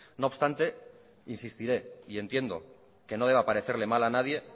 no obstante insistiré y entiendo que no deba parecerle mal a nadie